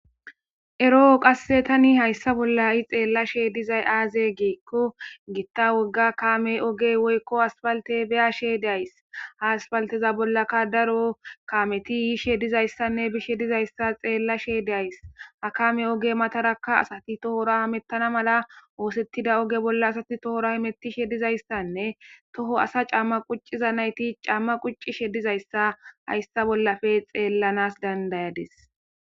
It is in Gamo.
Eroo qasse tani hayssa bolla i xeellashe dizay aaze giikko giitta wogga kaame ogey woykko haspalte beyashshe days ha aspalteza bollaka daro kameti yiishe dizayssanne bishe dizayssa xeella she days ha kame oge matarakka asati tohora mettana mala oosettida oge bolla asati tohora hemetishe dizayssanne toho asa camma qucciza nayti camma quccishe dizayssa hayssa bollafe xeellanas dandayadis